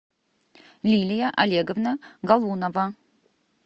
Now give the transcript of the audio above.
лилия олеговна галунова